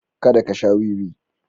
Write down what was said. Kada ka sha wiwi.